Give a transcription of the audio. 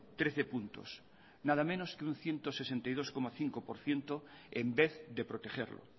trece puntos nada menos que un ciento sesenta y dos coma cinco por ciento en vez de protegerlo